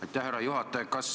Aitäh, härra juhataja!